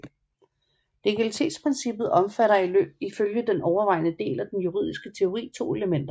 Legalitetsprincippet omfatter ifølge den overvejende del af den juridiske teori to elementer